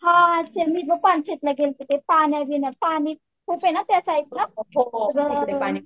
हां मी पण पानशेतला गेलते ते पाणी त्यासाईडला